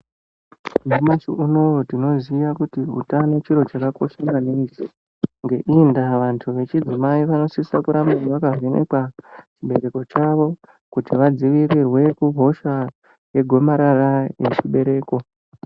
Nyamashi unouwu tinoziya kuti utano chiro chakakosha maningi ngeiyi ndaa vandu vechidimai vanosisa kurambe vakavhenekwa muchibereko chavo kuti vadzivirirwe kuhosha regomarara rechibereko.